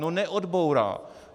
No neodbourá.